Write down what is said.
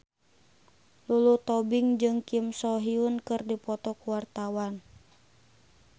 Lulu Tobing jeung Kim So Hyun keur dipoto ku wartawan